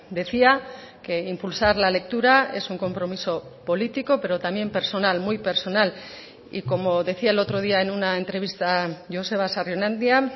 decía que impulsar la lectura es un compromiso político pero también personal muy personal y como decía el otro día en una entrevista joseba sarrionandia